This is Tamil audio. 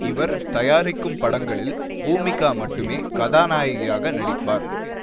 இவர் தயாரிக்கும் படங்களில் பூமிகா மட்டுமே கதாநாயகியாக நடிப்பார்